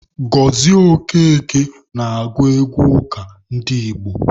Gozie Okeke na-agụ egwu ụka ndị Igbo.